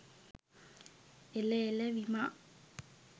එල එළ විමා